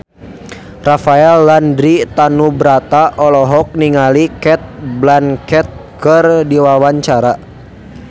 Rafael Landry Tanubrata olohok ningali Cate Blanchett keur diwawancara